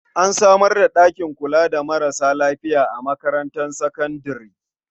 An samar da ɗakin kula da marasa lafiya a makarantar sakandare.